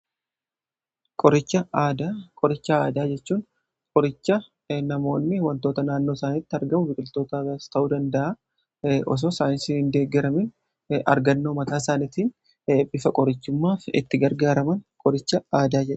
Qoricha aadaa: qoricha aadaa jechuun qoricha namoonni wantoota naannoo isaaniitti argamu biqiltootas ta'uu danda'a osoo saayinsii hin deeggiramiin argannoo mataa isaanitiin bifa qorichummaaf itti gargaaraman qoricha aadaa jedhama.